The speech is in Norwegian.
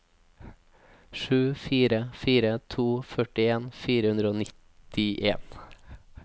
sju fire fire to førtien fire hundre og nittien